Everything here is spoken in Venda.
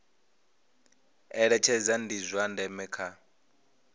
eletshedza ndi zwa ndeme kha